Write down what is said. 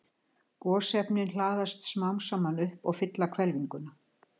Gosefnin hlaðast smám saman upp og fylla hvelfinguna.